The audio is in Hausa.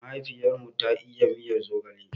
Mahaifiyar mu ta iya miyan zogale.